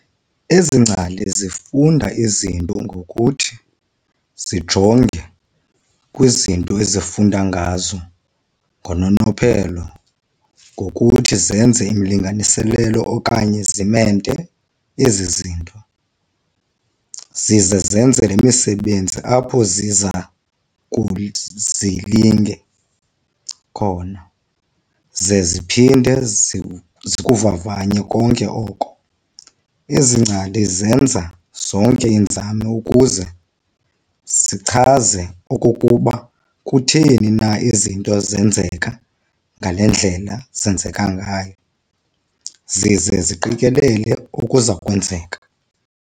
Ezi ngcali zifunda izinto ngokuthi zijonge kwizinto ezifunda ngazo ngononophelo, ngokuthi zenze imilinganiselo okanye zimente ezi zinto, zize zenze le misebenzi apho ziza kukhe zilinge khona ze ziphinde zikuvavanye konke oko. ezi ngcali zenza zonke iinzame ukuze zichaze okokuba kutheni na izinto zisenzeka ngale ngendlela ezenzeka ngayo, zize ziqikelele okuzakwenzeka.